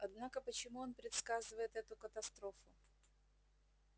однако почему он предсказывает эту катастрофу